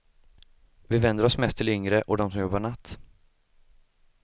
Vi vänder oss mest till yngre, och de som jobbar natt.